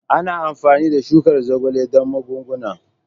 Ana amfani da shukar zogale don magunguna.